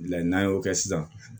Layi n'an y'o kɛ sisan